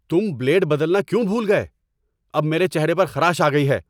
تم بلیڈ بدلنا کیوں بھول گئے؟ اب میرے چہرے پر خراش آ گئی ہے!